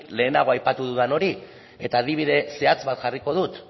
lehenago aipatu dudan hori eta adibide zehatz bat jarriko dut